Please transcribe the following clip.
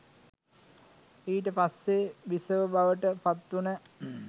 ඊට පස්සෙ බිසව බවට පත් වුන